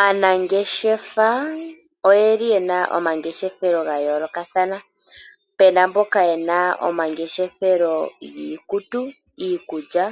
Aanangeshefa oyeli yena omangeshefelo ga yoolokathana, puna mboka yena omangeshefelo giikutu, iikulya,